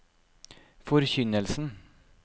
forkynnelsen